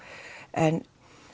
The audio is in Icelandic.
en